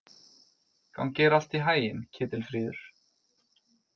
Gangi þér allt í haginn, Ketilfríður.